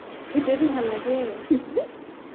সেইটোয়ে তো ভাল লাগে